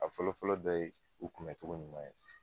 A fɔlɔfɔlɔ dɔ ye u kunbɛn cogo ɲuman ye